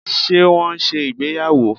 Ṣe wọn n ṣe ìgbéyàwò?